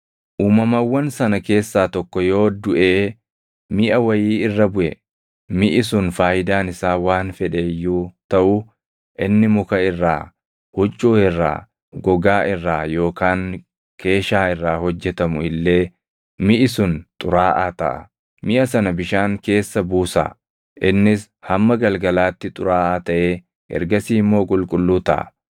Uumamawwan sana keessaa tokko yoo duʼee miʼa wayii irra buʼe, miʼi sun faayidaan isaa waan fedhe iyyuu taʼu, inni muka irraa, huccuu irraa, gogaa irraa yookaan keeshaa irraa hojjetamu illee miʼi sun xuraaʼaa taʼa; miʼa sana bishaan keessa buusaa. Innis hamma galgalaatti xuraaʼaa taʼee ergasii immoo qulqulluu taʼa.